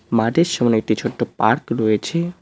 মাঠের সামনে একটি ছোট্ট পার্ক রয়েছে।